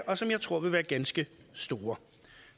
og som jeg tror vil være ganske store